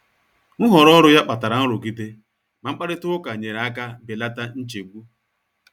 Nhọrọ ọrụ ya kpatara nrụgide, ma mkparịta ụka nyere aka belata nchegbu.